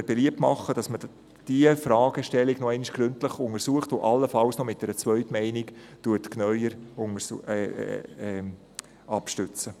Wir machen beliebt, diese Fragestellung noch einmal gründlich zu untersuchen und allenfalls mit einer Zweitmeinung abzustützen.